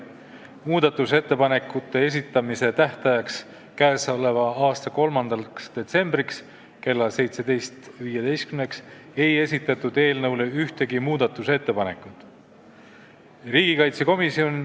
Muudatusettepanekute esitamise tähtajaks, mis oli 3. detsember kell 17.15, ei esitatud ühtegi ettepanekut.